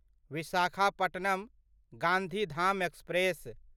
Visakhapatnam Gandhidham express